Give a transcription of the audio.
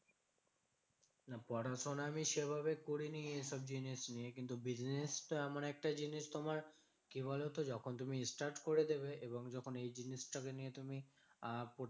পড়াশোনা আমি সেভাবে করিনি এসব জিনিস নিয়ে। কিন্তু business টা এমন একটা জিনিস, তোমার কি বলতো? যখন তুমি start করে দেবে এবং যখন এই জিনিসটাকে নিয়ে তুমি আহ